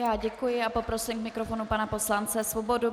Já děkuji a poprosím k mikrofonu pana poslance Svobodu.